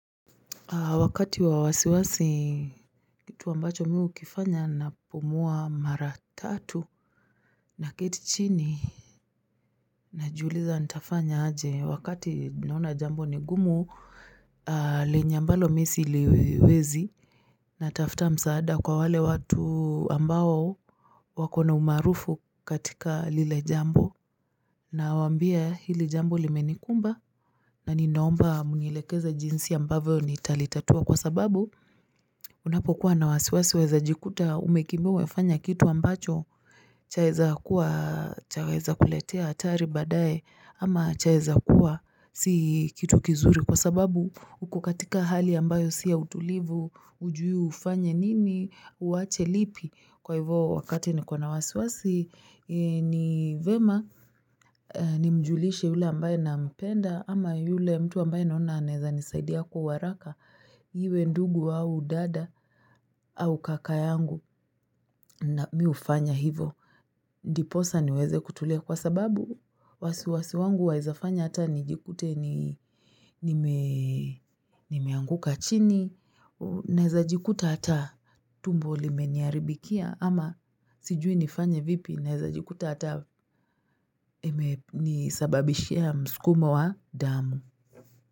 Wakati wa wasiwasi kitu ambacho miu kifanya na pumua mara tatu na kiti chini najuuliza nitafanya aje wakati nauna jambo nigumu lenya mbalo misi iliwezi natafta msaada kwa wale watu ambao wakona umarufu katika lile jambo na wambia hili jambo limenikumba na ninaomba mngilekeza jinsi ambavyo nitalitatua kwa sababu Unapo kuwa na wasiwasi wezajikuta umekimewe fanya kitu ambacho chaweza kuletea atari badae ama chaiza kuwa si kitu kizuri kwa sababu ukukatika hali ambayo siya utulivu ujuyu ufanye nini uache lipi kwa hivyo wakati ni kwa na wasiwasi ni vyema ni mjulishe yule ambaye na mpenda ama yule mtu ambaye naona aneza nisaidiya kuwaraka hiwe ndugu wawu dada au kakayangu na miufanya hivo. Ndiposa niweze kutule kwa sababu wasiwasi wangu waizafanya hata nijikute nimeanguka chini naiza jikuta hata tumbo limeniaribikia ama sijui nifanya vipi naeza jikuta hata nisababishia mskumo wa damu.